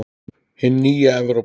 Hin nýja Evrópa!